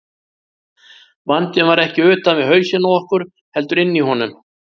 Vandinn var ekki utan við hausinn á okkur, heldur inni í honum.